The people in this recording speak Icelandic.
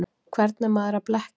Hvern er maður að blekkja?